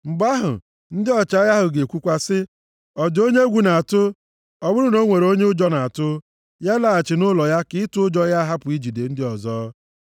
Mgbe ahụ, ndị ọchịagha ahụ ga-ekwukwa sị, “Ọ dị onye egwu na-atụ? Ọ bụrụ na o nwere onye ụjọ na-atụ, ya laghachi nʼụlọ ya ka ịtụ ụjọ ya hapụ ijide ndị ọzọ.”